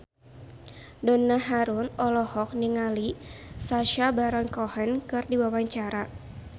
Donna Harun olohok ningali Sacha Baron Cohen keur diwawancara